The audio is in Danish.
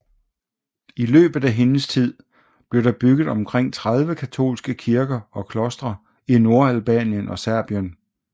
I løbet af hendes tid blev der bygget omkring 30 katolske kirker og klostre i Nordalbanien og Serbien